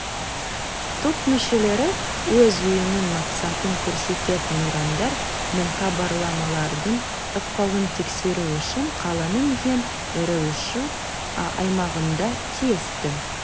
топ мүшелері өз ұйымының мақсатын көрсететін ұрандар мен хабарламалардың ықпалын тексеру үшін қаланың ең ірі үш аймағында тиісті